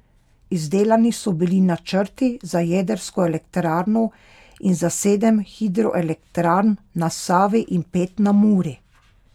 Izdelani so bili načrti za jedrsko elektrarno in za sedem hidroelektrarn na Savi in pet na Muri.